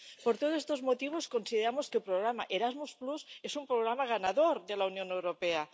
Por todos estos motivos, consideramos que el programa Erasmus es un programa ganador de la Unión Europea